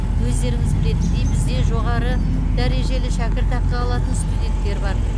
өздеріңіз білетіндей бізде жоғары дәрежелі шәкіртақы алатын студенттер бар